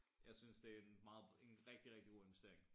Jeg synes det en meget en rigtig rigtig god investering